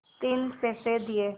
तीन पैसे दिए